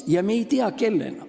Ja me ei tea, kellena.